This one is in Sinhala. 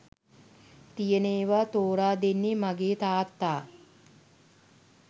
තියෙන ඒවා තෝරා දෙන්නේ මගේ තාත්තා